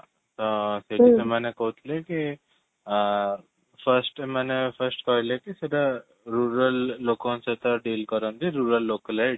ତ ସେଠି ସେମାନେ କହୁଥିଲେ କି ଅ first ସେମାନେ first କହିଲେକି ସେଟା rural ଲୋକଙ୍କ ସହିତ deal କରନ୍ତି rural local head